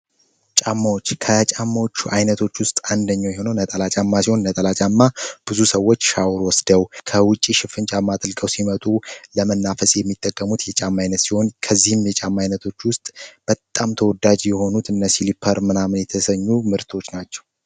ጫማዎች ከጫማዎች አይነቶቹ ውስጥ አንደኛ የሆነው ነጠላ ጫማ ሲሆን ነጠላ ጫማ ብዙ ሰዎች ሻውር ወስደው ከውጭ ሽፍን ጫማ አጥልቀው ሲመጡ ለመናፈስ የሚጠቀሙት የጫም አይነት ሲሆን ከዚህም የጫማ ዓይነቶች ውስጥ በጣም ተወዳጂ የሆኑት እነ ሲሊፓር ምናምን የተሰኙ ምርቶች ናቸው።